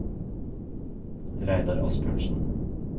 Reidar Asbjørnsen